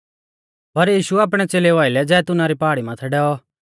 पर यीशु आपणै च़ेलेऊ आइलै जैतूना री पहाड़ी माथै डैऔ